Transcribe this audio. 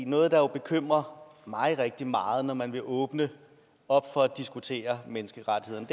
noget der bekymrer mig rigtig meget at man vil åbne op for at diskutere menneskerettighederne